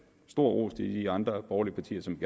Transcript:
stor ros til de andre borgerlige partier som